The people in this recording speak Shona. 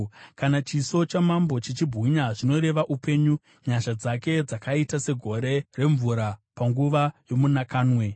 Kana chiso chamambo chichibwinya, zvinoreva upenyu, nyasha dzake dzakaita segore remvura panguva yomunakamwe.